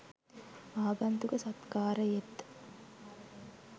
ආගන්තුක සත්කාරයෙත්